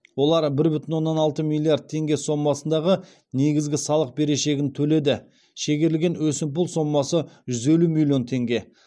олар бір бүтін оннан алты миллиард теңге сомасындағы негізгі салық берешегін төледі шегерілген өсімпұл сомасы жүз елу миллион теңге